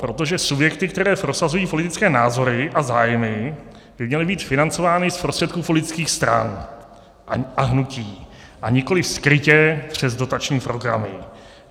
Proto, že subjekty, které prosazují politické názory a zájmy, by měly být financovány z prostředků politických stran a hnutí, a nikoliv skrytě přes dotační programy.